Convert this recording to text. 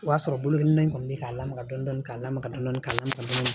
O y'a sɔrɔ bolokoli nɛnɛ in kɔni bɛ k'a lamaga dɔɔnin dɔɔnin ka lamaga dɔɔni k'a lamaga